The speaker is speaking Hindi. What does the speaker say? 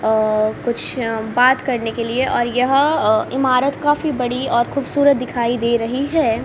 अ कुछ बात करने के लिए और यह अ इमारत काफी बड़ी और खूबसूरत दिखाई दे रही है।